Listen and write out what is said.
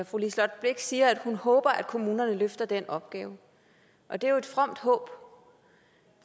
fru liselott blixt siger at hun håber at kommunerne løfter den opgave og det er jo et fromt håb